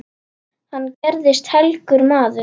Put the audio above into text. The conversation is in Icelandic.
Hann gerðist helgur maður.